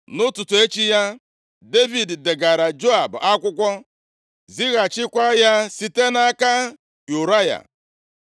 Nʼụtụtụ echi ya, Devid degaara Joab akwụkwọ, zighachịkwa ya site nʼaka Ụraya.